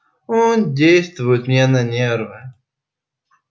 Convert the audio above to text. он действует мне на нервы